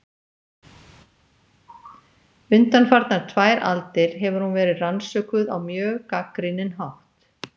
Undanfarnar tvær aldir hefur hún verið rannsökuð á mjög gagnrýninn hátt.